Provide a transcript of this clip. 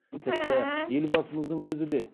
тіпті елбасымыздың өзі де